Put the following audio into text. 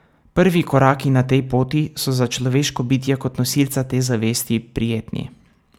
Prvi koraki na tej poti so za človeško bitje kot nosilca te zavesti prijetni ...